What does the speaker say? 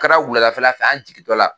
kɛra wuladafɛla fɛ an jigintɔla